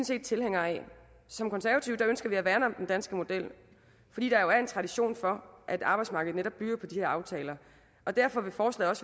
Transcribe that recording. set tilhængere af som konservative ønsker vi at værne om den danske model fordi der jo er en tradition for at arbejdsmarkedet netop bygger på de her aftaler derfor vil forslaget